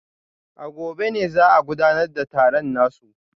A gobe ne za a gudanar da taron nasu